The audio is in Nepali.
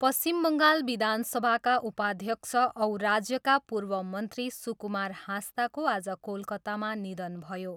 पश्चिम बङ्गाल विधानसभाका उपाध्यक्ष औ राज्यका पूर्व मन्त्री सुकुमार हाँसदाको आज कोलकातामा निधन भयो।